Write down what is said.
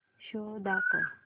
show दाखव